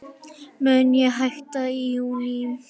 Mun ég hætta í júní?